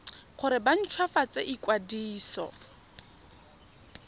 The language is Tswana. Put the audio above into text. gore ba nt hwafatse ikwadiso